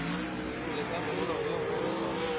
le ka se lobe go